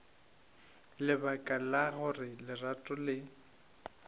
lebaka la gore lerato le